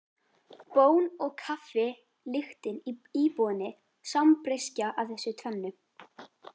Bón og kaffi lyktin í íbúðinni sambreyskja af þessu tvennu.